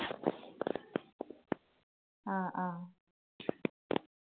ആ ആ.